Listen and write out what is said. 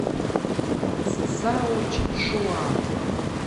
цзаочжуан